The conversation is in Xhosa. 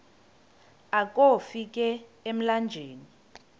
akofi ka emlanjeni